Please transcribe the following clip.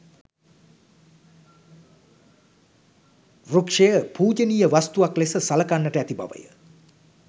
වෘක්‍ෂය පූජනීය වස්තුවක් ලෙස සලකන්නට ඇති බවය.